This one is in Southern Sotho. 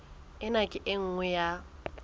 ena ke e nngwe ya